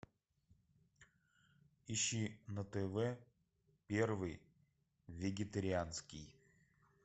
ищи на тв первый вегетарианский